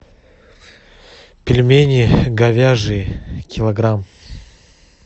пельмени говяжьи килограмм